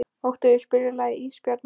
Oktavía, spilaðu lagið „Ísbjarnarblús“.